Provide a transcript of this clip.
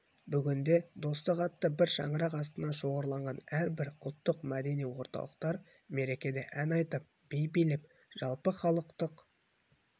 бүгінде достық атты бір шаңырақ астына шоғырланған әрбір ұлттық-мәдени орталықтар мерекеде ән айтып би билеп жалпыхалықтық